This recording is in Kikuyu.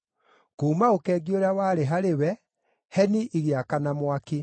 Kuuma ũkengi ũrĩa warĩ harĩ we, heni igĩakana mwaki.